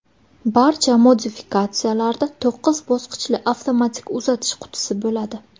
Barcha modifikatsiyalarda to‘qqiz bosqichli avtomatik uzatish qutisi bo‘ladi.